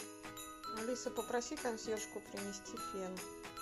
алиса попроси консьержку принести фен